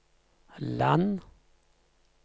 land